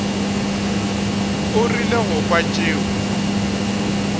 o rile go kwa tšeo